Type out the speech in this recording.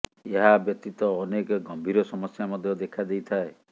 ଏହା ବ୍ୟତୀତ ଅନେକ ଗମ୍ଭୀର ସମସ୍ୟା ମଧ୍ୟ ଦେଖା ଦେଇଥାଏ